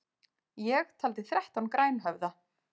Ég taldi þrettán grænhöfða.